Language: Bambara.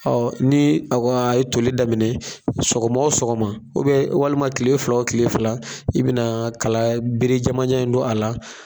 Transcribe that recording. Ɔ ni a ka e ye tolili daminɛ sɔgɔma osɔgɔma ubɛ walima kile fila o kile fila i bena kala bere jamanjanba in don a la